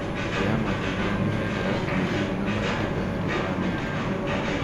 Mĩtĩ ya matunda nĩiheanaga kĩruru na matunda harĩ bamĩrĩ